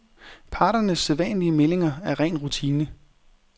Parternes sædvanlige meldinger er ren rutine.